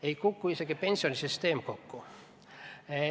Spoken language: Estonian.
Ei kuku isegi pensionisüsteem kokku.